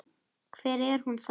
Hvar er hún þá?